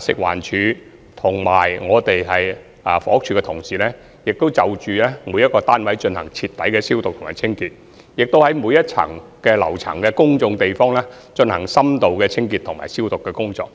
食物環境衞生署及房屋署同事，已對每個單位進行徹底消毒及清潔，以及在每個樓層的公眾地方，進行深度清潔及消毒工作。